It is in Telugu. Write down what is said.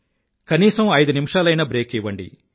కనీసం ఐదు నిమిషాలైనా బ్రేక్ ఇవ్వండి